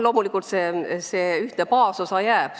Loomulikult see ühtne baasosa jääb.